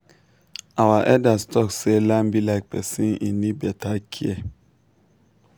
our elders talk say land be like person e need beta care.